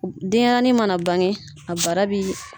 Denyɛrɛnin mana bange a bara bi